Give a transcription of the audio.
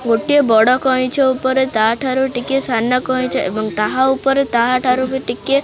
ଗୋଟିଏ ବଡ଼ କଇଁଚ ଉପରେ ତାଠାରୁ ଟିକେ ସାନ କଇଁଚ ଏବଂ ତାହା ଉପରେ ତାହାଠାରୁ ବି ଟିକେ।